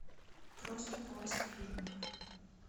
просто поиск фильмов